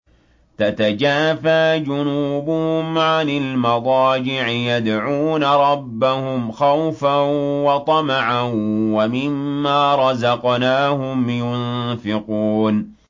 تَتَجَافَىٰ جُنُوبُهُمْ عَنِ الْمَضَاجِعِ يَدْعُونَ رَبَّهُمْ خَوْفًا وَطَمَعًا وَمِمَّا رَزَقْنَاهُمْ يُنفِقُونَ